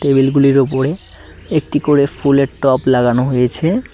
Table গুলির ওপরে একটি করে ফুলের টব লাগানো হয়েছে।